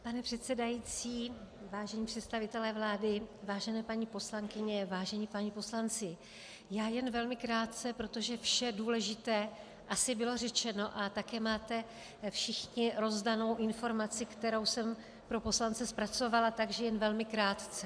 Pane předsedající, vážení představitelé vlády, vážené paní poslankyně, vážení páni poslanci, já jen velmi krátce, protože vše důležité asi bylo řečeno, a také máte všichni rozdánu informaci, kterou jsem pro poslance zpracovala, takže jen velmi krátce.